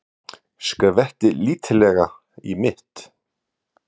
Skvetti lítillega í mitt.